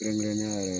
Kɛrɛnkɛrɛnnenya